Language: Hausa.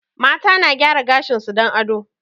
Mata na gaya gashin su don ado